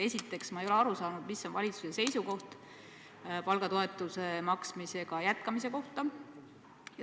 Esiteks ma ei ole aru saanud, mis on valitsuse seisukoht palgatoetuse maksmise jätkamise kohta.